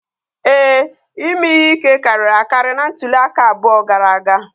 Ee, ime ihe ike karịrị akarị na ntuli aka abụọ gara aga